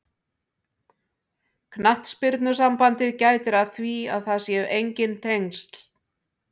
Knattspyrnusambandið gætir að því að það séu enginn tengsl.